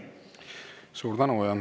Suur tänu!